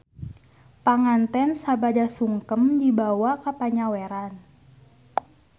Panganten sabada sungkem dibawa ka panyaweran.